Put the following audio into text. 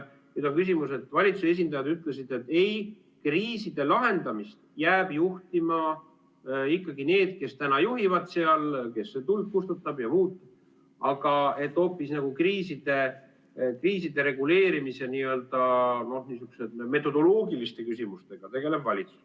Nüüd valitsuse esindajad ütlesid, et ei, kriiside lahendamist jäävad juhtima ikkagi need, kes täna juhivad, kes kustutab tuld ja muud, aga et hoopis kriiside reguleerimise metodoloogiliste küsimustega tegeleb valitsus.